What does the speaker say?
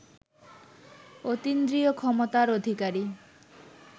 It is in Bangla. অতীন্দ্রিয় ক্ষমতার অধিকারী